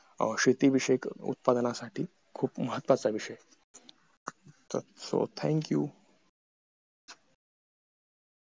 शेती विषयक उत्पादनासाठी खूप महत्वाचा विषय so thank you